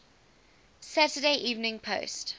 saturday evening post